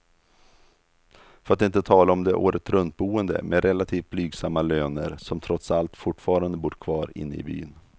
För att inte tala om de åretruntboende med relativt blygsamma löner, som trots allt fortfarande bor kvar inne i byn.